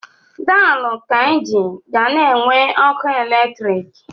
Daalụ Kainji ga na-enwe ọkụ eletrik.